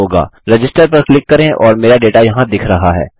register पर click करें और मेरा डेटा यहाँ दिख रहा है